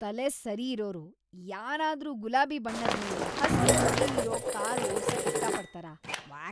ತಲೆ ಸರಿ ಇರೋರ್‌ ಯಾರಾದ್ರೂ ಗುಲಾಬಿ ಬಣ್ಣದ್ಮೇಲೆ ಹಸ್ರು ಚುಕ್ಕಿ ಇರೋ ಕಾರ್‌ ಓಡ್ಸಕ್‌ ಇಷ್ಟಪಡ್ತಾರಾ? ವ್ಯಾಕ್!